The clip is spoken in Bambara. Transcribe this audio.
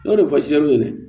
N'o de fɔ jati ɲɛna